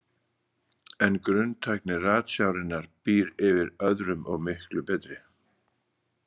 En grunntækni ratsjárinnar býr yfir öðrum og miklu betri.